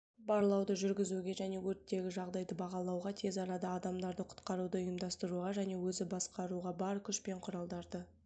барлауды жүргізуге және өрттегі жағдайды бағалауға тез арада адамдарды құтқаруды ұйымдастыруға және өзі басқаруға бар күш пен құралдарды